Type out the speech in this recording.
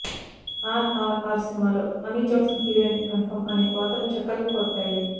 ఆర్ఆర్ఆర్ సినిమాలో Amy Jackson heroine confirm అని వార్తలు చక్కర్లు కొట్టాయి